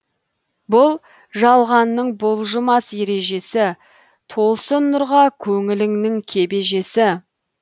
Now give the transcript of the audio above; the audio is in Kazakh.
бұл жалғанның бұлжымас ережесі толсын нұрға көңіліңнің кебежесі